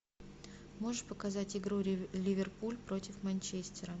можешь показать игру ливерпуль против манчестера